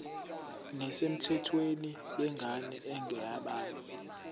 nesemthethweni yengane engeyabanye